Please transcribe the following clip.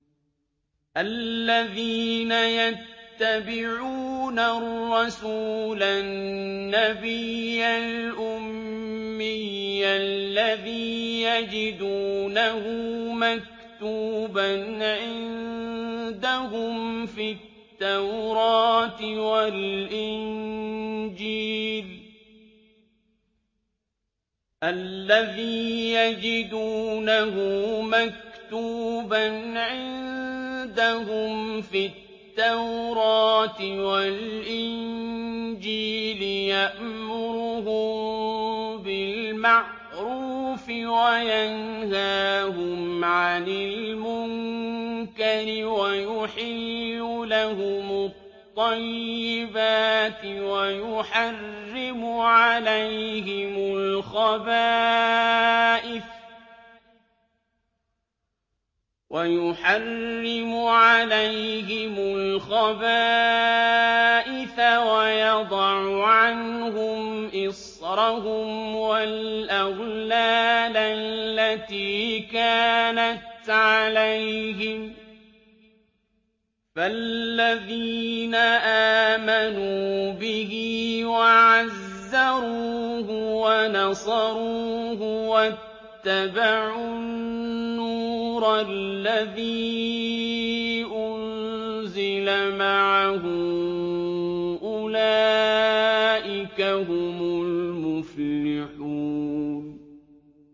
الَّذِينَ يَتَّبِعُونَ الرَّسُولَ النَّبِيَّ الْأُمِّيَّ الَّذِي يَجِدُونَهُ مَكْتُوبًا عِندَهُمْ فِي التَّوْرَاةِ وَالْإِنجِيلِ يَأْمُرُهُم بِالْمَعْرُوفِ وَيَنْهَاهُمْ عَنِ الْمُنكَرِ وَيُحِلُّ لَهُمُ الطَّيِّبَاتِ وَيُحَرِّمُ عَلَيْهِمُ الْخَبَائِثَ وَيَضَعُ عَنْهُمْ إِصْرَهُمْ وَالْأَغْلَالَ الَّتِي كَانَتْ عَلَيْهِمْ ۚ فَالَّذِينَ آمَنُوا بِهِ وَعَزَّرُوهُ وَنَصَرُوهُ وَاتَّبَعُوا النُّورَ الَّذِي أُنزِلَ مَعَهُ ۙ أُولَٰئِكَ هُمُ الْمُفْلِحُونَ